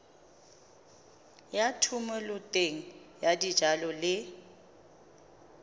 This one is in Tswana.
ya thomeloteng ya dijalo le